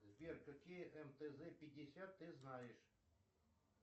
сбер какие мтз пятьдесят ты знаешь